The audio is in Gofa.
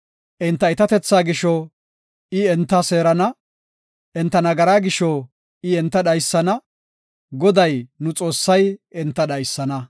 Enta iitatethaa gisho I enta seerana; enta nagaraa gisho I enta dhaysana; Goday nu Xoossay enta dhaysana.